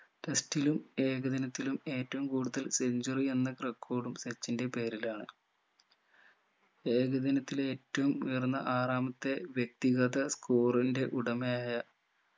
test ലും ഏകദിനത്തിലും ഏറ്റവും കൂടുതൽ centuary എന്ന record ഉം സച്ചിന്റെ പേരിലാണ് ഏകദിനത്തിലെ ഏറ്റവും ഉയർന്ന ആറാമത്തെ വ്യക്തിഗത score ന്റെ ഉടമയായ